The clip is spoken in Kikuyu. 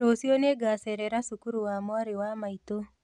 Rũciũ nĩngacerera cukuru wa mwarĩ wa maitũ